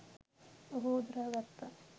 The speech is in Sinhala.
ඔහු උදුරා ගත්තා.